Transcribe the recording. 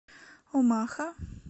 омаха